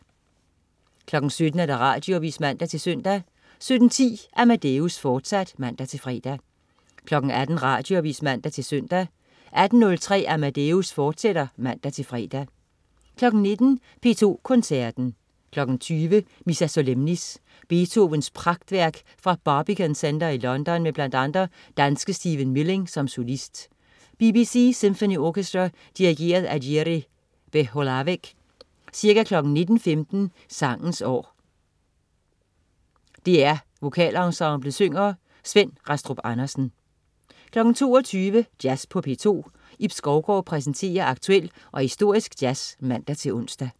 17.00 Radioavis (man-søn) 17.10 Amadeus, fortsat (man-fre) 18.00 Radioavis (man-søn) 18.03 Amadeus, fortsat (man-fre) 19.00 P2 Koncerten. 20.00 Missa Solemnis. Beethovens pragtværk fra Barbican Center i London med bl.a. danske Stephen Milling som solist. BBC Symphony Orchestra. Dirigent: Jiri Belohlavek. Ca. 19.15 Sangens År. DR VokalEnsemblet synger. Svend Rastrup Andersen 22.00 Jazz på P2. Ib Skovgaard præsenterer aktuel og historisk jazz (man-ons)